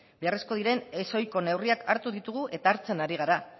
beharrezkoak diren ez ohiko neurriak hartu ditugu eta hartzen ari gara